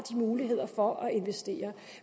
muligheder for at investere